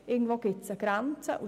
Irgendwo gibt es eine Grenze!